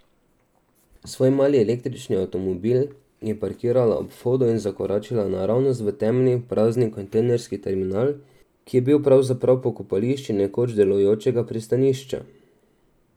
Svoj mali, električni avtomobil je parkirala ob vhodu in zakoračila naravnost v temni, prazni kontejnerski terminal, ki je bil pravzaprav pokopališče nekoč delujočega pristanišča.